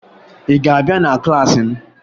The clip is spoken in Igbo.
Ị ga-abịa na klaasị m!